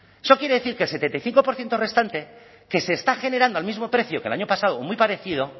eso quiere decir que el setenta y cinco por ciento restante que se está generando al mismo precio que el año pasado o muy parecido